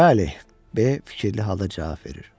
Bəli, B. fikirli halda cavab verir.